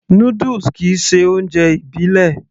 Noodles kìí ṣe oúnjẹ ìbílẹ̀